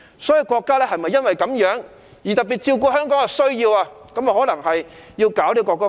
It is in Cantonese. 所以，國家可能因此特別照顧香港的需要，制定國歌法。